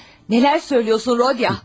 Nələr deyirsən, Rodiya?